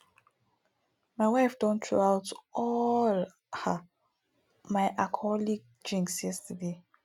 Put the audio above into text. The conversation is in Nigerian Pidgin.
my wife don throw out all um my alcoholic drinks yesterday